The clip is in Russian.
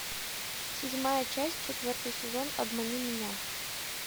седьмая часть четвертый сезон обмани меня